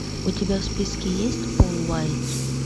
у тебя в списке есть пол уайтс